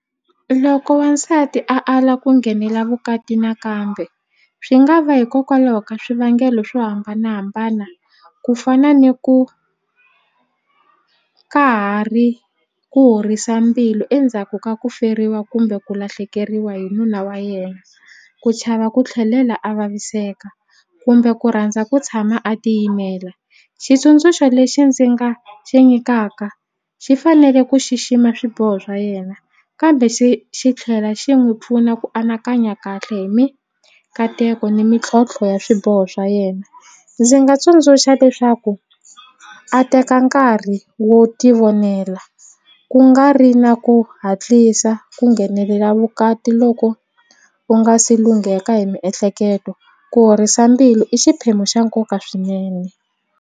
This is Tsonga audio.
Loko wansati a ala ku nghenela vukati nakambe swi nga va hikokwalaho ka swivangelo swo hambanahambana ku fana ni ku ka ha ri ku horisa mbilu endzhaku ka ku feriwa kumbe ku lahlekeriwa hi nuna wa yena ku chava ku tlhelela a vaviseka kumbe ku rhandza ku tshama a tiyimele xitsundzuxo lexi ndzi nga xi nyikaka xi fanele ku xixima swiboho swa yena kambe xi xi tlhela xi n'wi pfuna ku anakanya kahle hi mikateko ni mintlhontlho ya swiboho swa yena ndzi nga tsundzuxa leswaku a teka nkarhi wo tivonela ku nga ri na ku hatlisa ku nghenelela vukati loko u nga si lungheka hi miehleketo ku horisa mbilu i xiphemu xa nkoka swinene.